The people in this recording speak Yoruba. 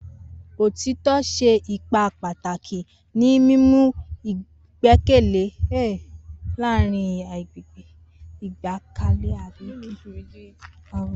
Otitọ ṣe ipa pataki ni mimu igbẹkẹle laarin agbegbe.